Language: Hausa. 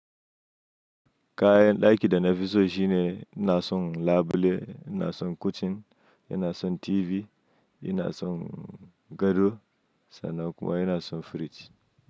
Kayan ɗaki da na fi so shi ne ina son labule, na son cushion, ina son TV, ina son gado sannan kuma yana son firji.